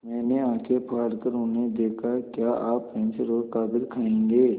मैंने आँखें फाड़ कर उन्हें देखा क्या आप पेन्सिल और कागज़ खाएँगे